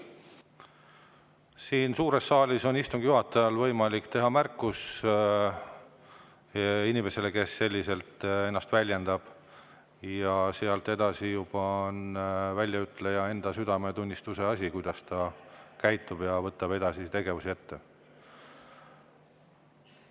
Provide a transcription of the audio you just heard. Siin suures saalis on istungi juhatajal võimalik teha märkus inimesele, kes ennast sellisel viisil väljendab, ja sealt edasi on juba väljaütleja enda südametunnistuse asi, kuidas ta edaspidi käitub ja milliseid tegevusi ette võtab.